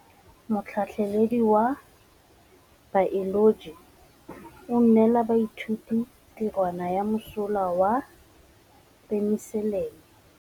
Motlhatlhaledi wa baeloji o neela baithuti tirwana ya mosola wa peniselene.